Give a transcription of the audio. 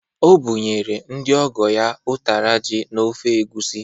O bụnyere ndị ọgọ ya ụtara ji na ofe egwusi.